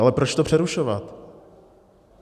Ale proč to přerušovat?